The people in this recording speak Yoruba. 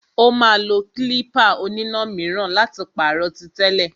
Ó máa lo klípà oníná míràn láti pàrọ̀ tí tẹ́lẹ̀.